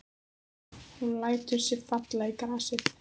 Hún lætur sig falla í grasið.